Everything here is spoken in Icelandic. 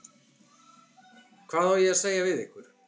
Hvað á ég að segja við ykkur?